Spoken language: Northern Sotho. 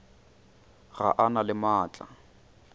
ga a na le maatla